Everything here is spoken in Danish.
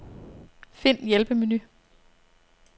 Find hjælpemenu.